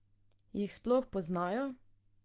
Jih sploh poznajo?